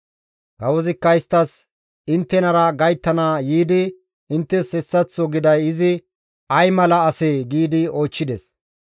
Kawozikka isttas, «Inttenara gayttana yiidi inttes hessaththo giday izi ay mala asee?» giidi oychchides.